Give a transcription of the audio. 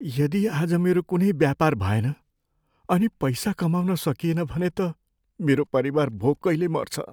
यदि आज मेरो कुनै व्यापार भएन अनि पैसा कमाउन सकिएन भने त मेरो परिवार भोकैले मर्छ।